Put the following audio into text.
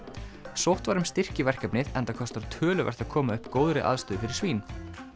sótt var um styrki í verkefnið enda kostar töluvert að koma upp góðri aðstöðu fyrir svín